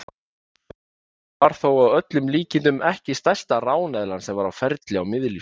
Hún var þó að öllum líkindum ekki stærsta ráneðlan sem var á ferli á miðlífsöld.